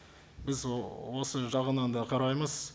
біз осы жағынан да қараймыз